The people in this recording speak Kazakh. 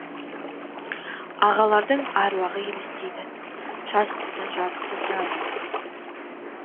ағалардың аруағы елестейді жазықсыздан жазықсыз жазаланған